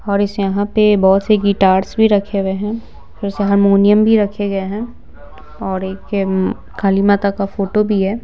और इस यहाँ पे बहुत से गिटार्स भी रखे हुए हैं फिर से हारमोनियम भी रखे गए हैं और एक उम्म काली माता का फोटो भी है।